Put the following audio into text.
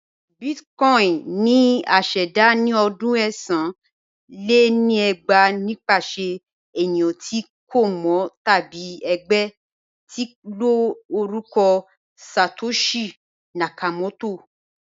Bitcoin ni à ṣẹda ni ọdún ẹ̀sán lé ní ẹgbàá nipasẹ̀ ènìyàn ti a kò mọ tabi ẹgbẹ̀ tín ló orúkọ Satoshi Nakamoto